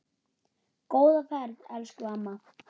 Góða ferð, elsku amma.